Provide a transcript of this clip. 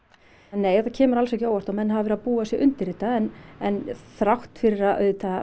nei þetta kemur alls ekki á óvart og menn hafa verið að búa sig undir þetta en en þrátt fyrir auðvitað að